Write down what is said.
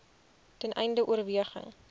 ten einde oorweging